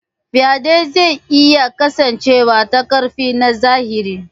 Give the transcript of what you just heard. Faɗe zai iya kasancewa ta ƙarfi na zahiri.